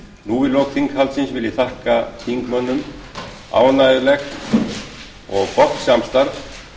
nú í lok þinghaldsins vil ég þakka þingmönnum ánægjulegt og gott samstarf